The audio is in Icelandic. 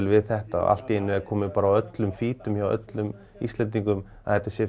við þetta og allt í einu er bara komið á öllum feedum hjá öllum Íslendingum að þetta sé